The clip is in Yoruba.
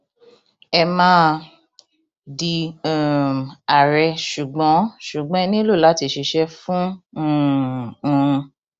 ẹ máa di um àárẹ ṣùgbọn ṣùgbọn ẹ nílò láti ṣiṣẹ fún um un